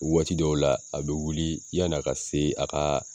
Waati dɔw la a bɛ wuli yan'a ka se a ka